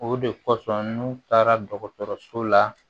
O de kosɔn n'u taara dɔgɔtɔrɔso la